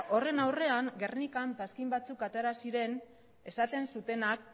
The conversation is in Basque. horren aurrean gernikan paskin batzuk atera ziren esaten zutenak